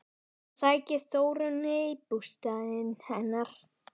Ég sæki Þórunni í bústaðinn hennar.